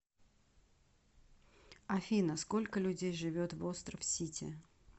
афина сколько людей живет в остров сите